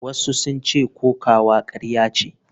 Wasu sun ce kokawa karya ce.